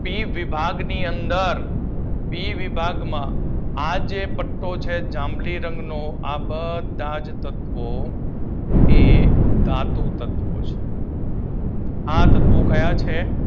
C વિભાગની અંદર P વિભાગમાં આ જે પટ્ટો છે જાંબલી રંગનો આ બધા જ તત્વો કે ધાતુ તત્વો છે. આ તત્વો ક્યાં છે ધાતુ તત્વો આ તત્વો ક્યાં છે?